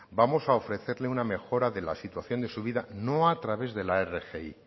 vamos a ofrecerle una mejora de la situación de su vida no a través de la rgi